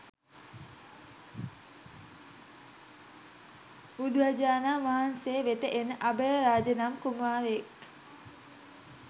බුදුරජාණන් වහන්සේ වෙත එන අභයරාජ නම් කුමාරයෙක්